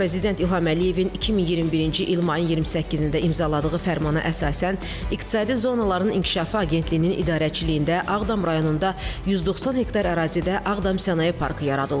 Prezident İlham Əliyevin 2021-ci il mayın 28-də imzaladığı fərmana əsasən iqtisadi zonaların inkişafı agentliyinin idarəçiliyində Ağdam rayonunda 190 hektar ərazidə Ağdam sənaye parkı yaradılıb.